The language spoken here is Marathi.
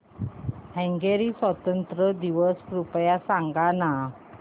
हंगेरी स्वातंत्र्य दिवस कृपया सांग ना